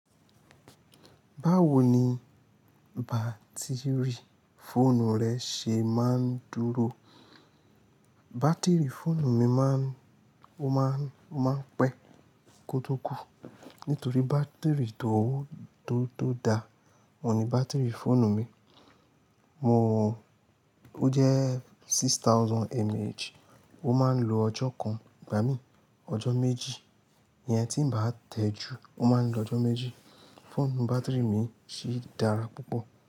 Báwo ni bátìrì fóònù rẹ ṣe máa ń dúró? Bátìrì fóònù mi máa ń, ó máa ń, ó máa ń pẹ́ kótó kù. Nítorí bátìrì tó, tó, tó da. Mo ní bátìrì fóònù mi, mo, ó jẹ́ six thousand mAh, ó máa ń lo ọjọ́ kan, gbà mí ọjọ́ méjì. Ìyẹn tí ń bá tẹ́ ju, ó máa ń lo ọjọ́ méjì. Fóònù bátìrì mi sì dára púpọ̀